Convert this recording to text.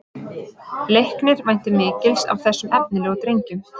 Leiknir væntir mikils af þessum efnilegu drengjum